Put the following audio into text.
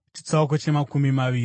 Jehovha akati kuna Mozisi,